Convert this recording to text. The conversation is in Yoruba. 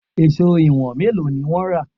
Èṣó ìwọ̀n mélòó ni wọ́n rà?